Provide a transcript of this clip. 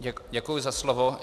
Děkuji za slovo.